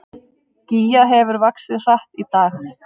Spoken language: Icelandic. Gígja hefur vaxið hratt í dag